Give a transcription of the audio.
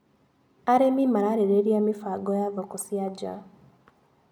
Arĩmi mararĩrĩria mĩbango ya thoko cia nja.